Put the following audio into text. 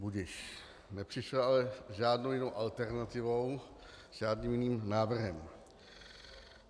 Budiž, nepřišla ale s žádnou jinou alternativou, s žádným jiným návrhem.